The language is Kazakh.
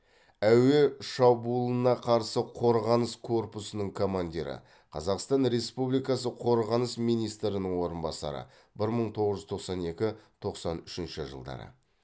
әуе шабуылына қарсы қорғаныс корпусының командирі қазақстан республикасы қорғаныс министрінің орынбасары бір мың тоғыз жүз тоқсан екі тоқсан үшінші жылдары